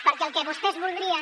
perquè el que vostès voldrien